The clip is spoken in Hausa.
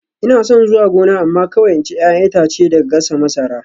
Ina son zuwa gona amma kawai in ci 'ya'yan itace da gasa masara